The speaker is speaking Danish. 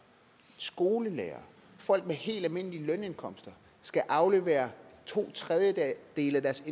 skolelærere folk med helt almindelige lønindkomster skal aflevere to tredjedele af deres